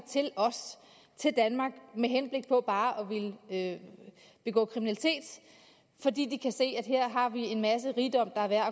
til danmark med henblik på bare at begå kriminalitet fordi de kan se at her har vi en masse rigdom der er værd